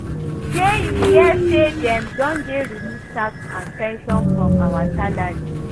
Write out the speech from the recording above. Shey you hear say dem don dey remove tax and pension from our salary?